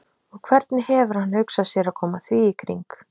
Og hvernig hefur hann hugsað sér að koma því í kring?